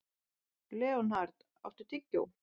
Leonhard, áttu tyggjó?